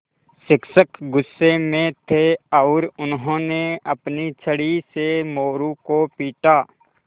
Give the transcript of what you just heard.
शिक्षक गुस्से में थे और उन्होंने अपनी छड़ी से मोरू को पीटा